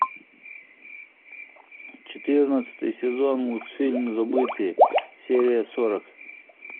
четырнадцатый сезон мультфильм забытые серия сорок